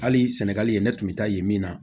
Hali sɛnɛgali ne tun bɛ taa yen min na